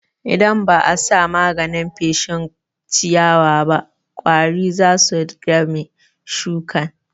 Idan ba'a sa maganin feshin ciyawaba ƙwari zasu dami shuƙin.